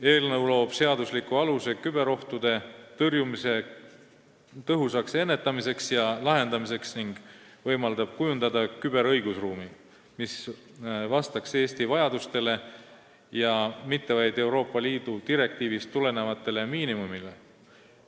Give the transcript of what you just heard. Eelnõu loob seadusliku aluse küberohtude tõrjumisel tõhusa ennetustöö tegemiseks ja probleemide lahendamiseks ning võimaldab kujundada küberõigusruumi, mis vastaks Eesti vajadustele ja mitte vaid Euroopa Liidu direktiivist tulenevatele miinimumnõuetele.